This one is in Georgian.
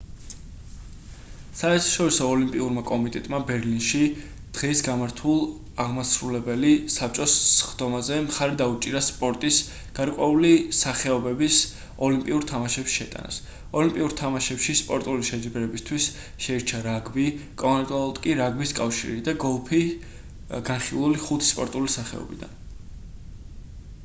საერთაშორისო ოლიმპიურმა კომიტეტმა ბერლინში დღეს გამართულ აღმასრულებელი საბჭოს სხდომაზე მხარი დაუჭირა სპორტის გარკვეული სახეობების ოლიმპიურ თამაშებში შეტანას ოლიმპიურ თამაშებში სპორტული შეჯიბრებებისთვის შეირჩა რაგბი კონკრეტულად კი რაგბის კავშირი და გოლფი განხილული ხუთი სპორტული სახეობიდან